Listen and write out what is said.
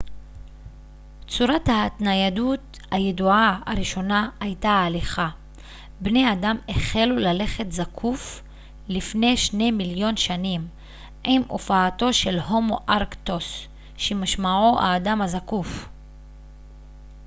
צורת ההתניידות הידועה הראשונה הייתה הליכה בני אדם החלו ללכת זקוף לפני שני מיליון שנים עם הופעתו של הומו ארקטוס שמשמעו האדם הזקוף